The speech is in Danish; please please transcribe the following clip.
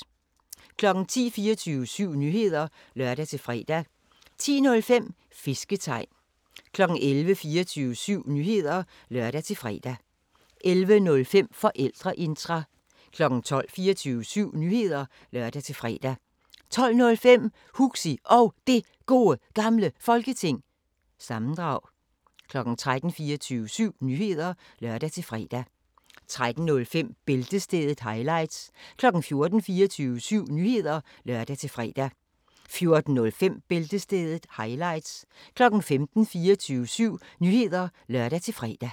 10:00: 24syv Nyheder (lør-fre) 10:05: Fisketegn 11:00: 24syv Nyheder (lør-fre) 11:05: Forældreintra 12:00: 24syv Nyheder (lør-fre) 12:05: Huxi Og Det Gode Gamle Folketing- sammendrag 13:00: 24syv Nyheder (lør-fre) 13:05: Bæltestedet – highlights 14:00: 24syv Nyheder (lør-fre) 14:05: Bæltestedet – highlights